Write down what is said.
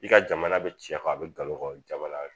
I ka jamana bɛ cɛ kɔ a bɛ galon jamana